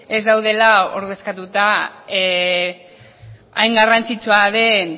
ez daudela ordezkatuta hain garrantzitsua den